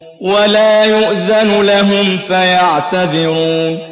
وَلَا يُؤْذَنُ لَهُمْ فَيَعْتَذِرُونَ